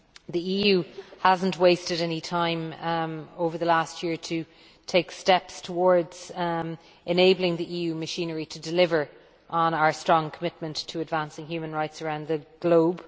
The EU has not wasted any time over the last year to take steps towards enabling the EU machinery to deliver on our strong commitment to advancing human rights around the globe.